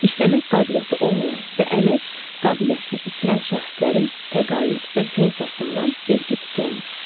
İşləmək qabiliyyəti olmayan və əmək qabiliyyətini itirən şəxslərin təqaüd və pensiyasından vergi tutulmur.